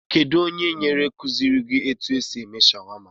Kedụ ónyé nyere kuziri gị etu esị eme shawama?